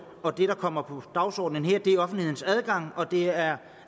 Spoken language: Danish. og det der kommer på dagsordenen her er offentlighedens adgang og det er